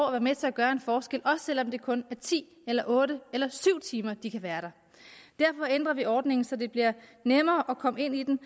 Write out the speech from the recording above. at være med til at gøre en forskel også selv om det kun er ti eller otte eller syv timer de kan være der derfor ændrer vi ordningen så det bliver nemmere at komme ind i den